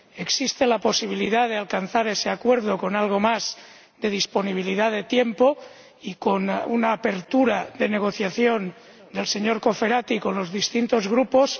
Existe la posibilidad de alcanzar ese acuerdo con algo más de disponibilidad de tiempo y con una apertura de negociación del señor Cofferati con los distintos Grupos